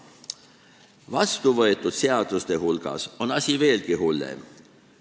Vastuvõetud seadustega on asi veelgi hullem.